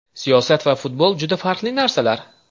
Siyosat va futbol juda farqli narsalar.